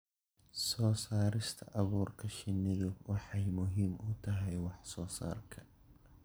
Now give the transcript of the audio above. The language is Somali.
Soo saarista abuurka shinnidu waxay muhiim u tahay wax soo saarka.